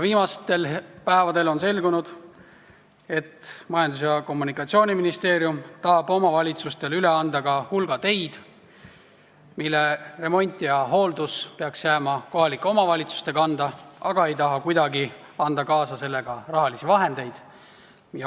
Viimastel päevadel on ka selgunud, et Majandus- ja Kommunikatsiooniministeerium tahab omavalitsustele üle anda hulga teid, mille remont ja hooldus peaks jääma omavalitsuste kanda, aga ei taha kuidagi kaasa anda selleks vajalikku raha.